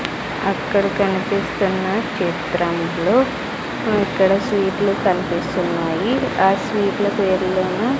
అక్కడ కనిపిస్తున్న చిత్రంలో అక్కడ స్వీట్లు కన్పిస్తున్నాయి ఆ స్వీట్ల పేర్లేమో --